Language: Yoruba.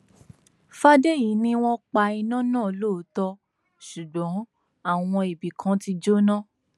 fàdèyí ni wọn pa iná náà lóòótọ ṣùgbọn àwọn ibì kan ti jóná